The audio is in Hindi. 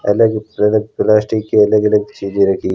अलग अलग प्लास्टिक के अलग अलग चीजें रखी--